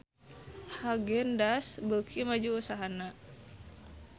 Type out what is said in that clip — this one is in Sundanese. Haagen Daazs beuki maju usahana